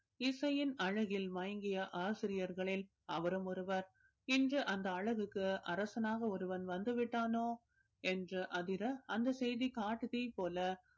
இசையின் அழகில் மயங்கிய ஆசிரியர்களில் அவரும் ஒருவர் இன்று அந்த அழகுக்கு அரசனாக ஒருவன் வந்து விட்டானோ என்று அதிர அந்த செய்தி காட்டுத்தீ போல